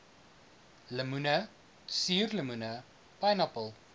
lemoene suurlemoene pynappel